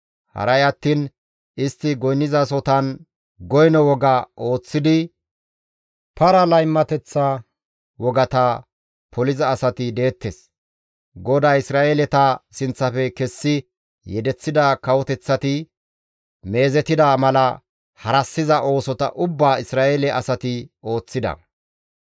Haray attiin istti goynnizasohotan goyno woga ooththidi para laymateththa wogata poliza asati deettes. GODAY Isra7eeleta sinththafe kessi yedeththida kawoteththati meezetida mala harassiza oosota ubbaa Isra7eele asati ooththida.